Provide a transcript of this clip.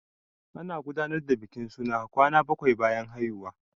Ana gudanar da bikin suna kwana bakwai bayan haihuwa.